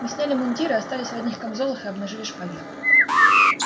мы сняли мундиры остались в одних камзолах и обнажили шпаги